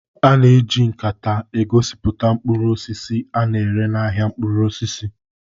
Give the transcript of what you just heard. A na-eji nkata egosipụta mkpụrụ osisi a na-ere n'ahịa mkpụrụ osisi